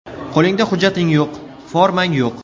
Qo‘lingda hujjating yo‘q, formang yo‘q.